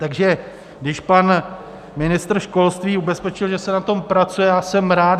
Takže když pan ministr školství ubezpečil, že se na tom pracuje, já jsem rád.